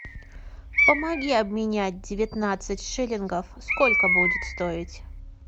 помоги обменять девятнадцать шиллингов сколько будет стоить